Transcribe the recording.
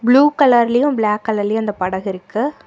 Blue கலர்லையும் black கலர்லயும் அந்த படகு இருக்கு.